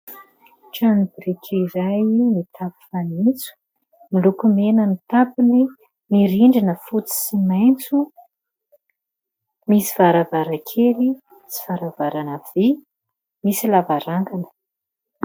Trano biriky iray mitafo fanitso miloko mena ny tafony, ny rindrina fotsy sy maitso. Misy varavarankely sy varavarana vy, misy lavarangana.